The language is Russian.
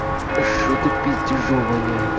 что-то пиздежом воняет